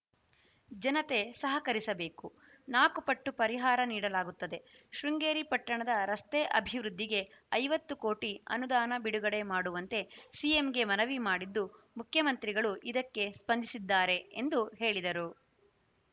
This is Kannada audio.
ಜನತೆ ಸಹಕರಿಸಬೇಕು ನಾಲ್ಕು ಪಟ್ಟು ಪರಿಹಾರ ನೀಡಲಾಗುತ್ತದೆ ಶೃಂಗೇರಿ ಪಟ್ಟಣದ ರಸ್ತೆ ಅಭಿವೃದ್ಧಿಗೆ ಐವತ್ತು ಕೋಟಿ ಅನುದಾನ ಬಿಡುಗಡೆ ಮಾಡುವಂತೆ ಸಿಎಂಗೆ ಮನವಿ ಮಾಡಿದ್ದು ಮುಖ್ಯಮಂತ್ರಿಗಳು ಇದಕ್ಕೆ ಸ್ಪಂದಿಸಿದ್ದಾರೆ ಎಂದು ಹೇಳಿದರು